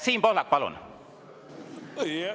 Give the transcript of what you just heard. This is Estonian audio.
Siim Pohlak, palun!